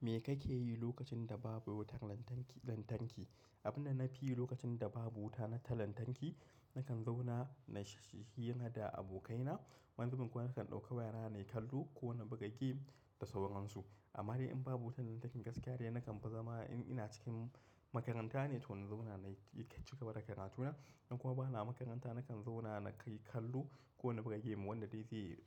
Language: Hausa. Me kake yi lokacin da babu wutar lantarki, lantarki? Abin da na fi yi lokacin da babu wuta na ta lantarki, nakan zauna na yi hira da abokaina, wani zubin kuma nakan ɗauka wayana na yi kallo ko na buga game da sauransu. Amma dai in babu wutar lantarki gaskiya dai nakan fi zama in ina cikin makaranta ne to na zauna na yi cigaba da karatuna. In kuma bana makaranta nakan zauna na kai kallo ko na buga game wanda dai zai